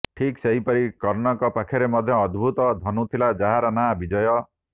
ଠିକ୍ ସେହିପରି କର୍ଣ୍ଣଙ୍କ ପାଖରେ ମଧ୍ୟ ଏକ ଅଦ୍ଭୁତ ଧନୁ ଥିଲା ଯାହାର ନାଁ ବିଜୟ